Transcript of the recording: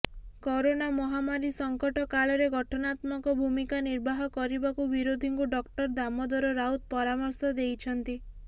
corona ମହାମାରୀ ସଂକଟ କାଳରେ ଗଠନାତ୍ମକ ଭୂମିକା ନିର୍ବାହ କରିବାକୁ ବିରୋଧୀଙ୍କୁ ଡକ୍ଟର ଦାମୋଦର ରାଉତ ପରାମର୍ଶ ଦେଇଛନ୍ତି